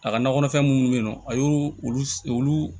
A ka nakɔ kɔnɔfɛn minnu bɛ yen nɔ a y'olu olu